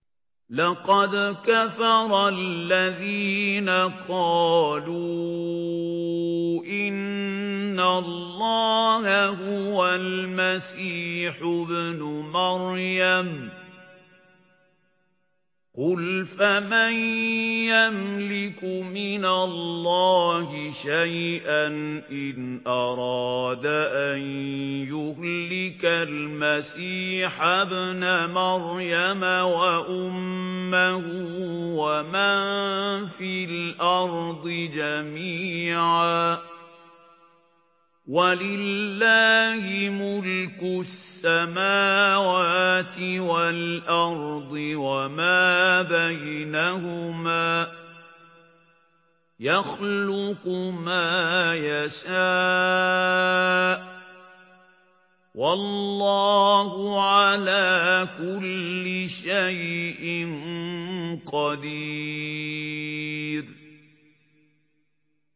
لَّقَدْ كَفَرَ الَّذِينَ قَالُوا إِنَّ اللَّهَ هُوَ الْمَسِيحُ ابْنُ مَرْيَمَ ۚ قُلْ فَمَن يَمْلِكُ مِنَ اللَّهِ شَيْئًا إِنْ أَرَادَ أَن يُهْلِكَ الْمَسِيحَ ابْنَ مَرْيَمَ وَأُمَّهُ وَمَن فِي الْأَرْضِ جَمِيعًا ۗ وَلِلَّهِ مُلْكُ السَّمَاوَاتِ وَالْأَرْضِ وَمَا بَيْنَهُمَا ۚ يَخْلُقُ مَا يَشَاءُ ۚ وَاللَّهُ عَلَىٰ كُلِّ شَيْءٍ قَدِيرٌ